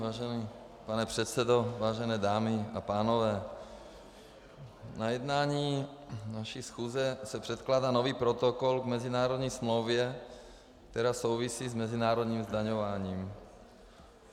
Vážený pane předsedo, vážené dámy a pánové, na jednání naší schůze se předkládá nový protokol k mezinárodní smlouvě, která souvisí s mezinárodním zdaňováním.